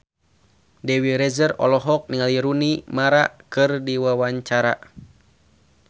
Dewi Rezer olohok ningali Rooney Mara keur diwawancara